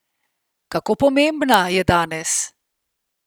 Kako pomembna je danes?